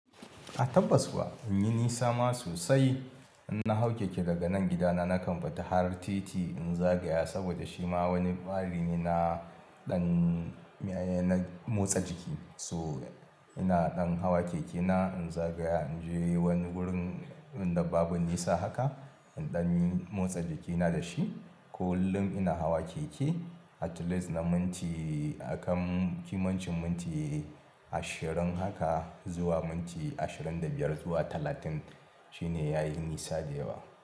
A tabbas kuwa, in yi nisa ma sosai. In na hau keke daga nan gidana, na kan fita har titi in zagaya saboda shi ma wani ɓari na ɗan, na motsa jiki. So ina ɗan hawa keke na in zagaya in je wani wurin, inda babu nisa haka, in ɗan yi motsa jikina da shi. Kullin ina hawa keke, at least na minti, a kan kimancin minti ashirin haka zuwa minti ashirin da biyar zuwa talatin shine yayi nisa da yawa.